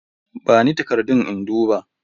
Bani takardun in duba.